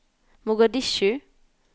Mogadishu